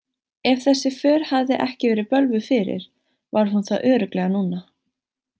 Ef þessi för hafði ekki verið bölvuð fyrir var hún það örugglega núna.